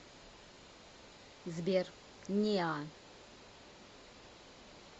сбер неа